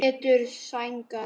Pétur: Sængað?